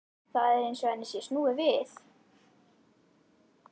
Það er eins og henni sé snúið við.